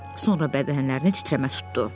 Sonra bədənlərini titrəmə tutdu.